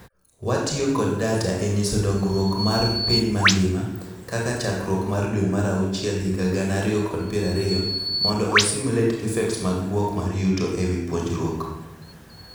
Watiyo kod data e nyiso dongruok mar piny mangima (kaka chakruok mar dwee mar auchiel higa gana ariyo kod piero ariyo) mondo osimulate effects mag bwok mar yuto ewii puonjruok.